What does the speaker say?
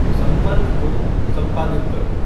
सम्पर्क को सम्पादित करो